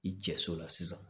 I cɛ so la sisan